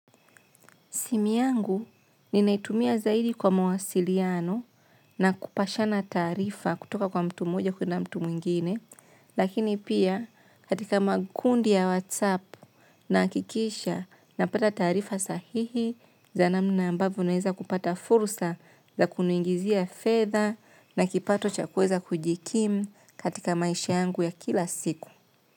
Simu yangu ni naitumia zaidi kwa mawasiliano na kupashana taarifa kutoka kwa mtu mmoja kuenda mtu mwingine. Lakini pia katika makundi ya WhatsApp nahakikisha na pata taarifa sahihi za namna ambavo naeza kupata fursa za kuniingizia fedha na kipato cha kuweza kujikimu katika maisha yangu ya kila siku.